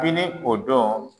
Bini o don